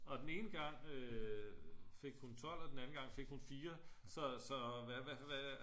Og den ene gang fik hun 12 og den anden gang fik hun 4 så så hvad